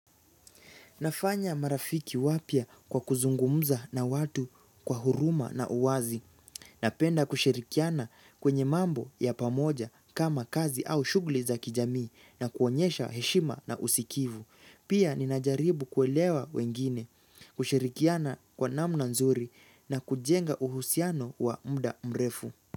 Nafanya marafiki wapya kwa kuzungumza na watu kwa huruma na uwazi. Napenda kushirikiana kwenye mambo ya pamoja kama kazi au shugli za kijamii na kuonyesha heshima na usikivu. Pia ninajaribu kuelewa wengine, kushirikiana kwa namna nzuri na kujenga uhusiano wa muda mrefu.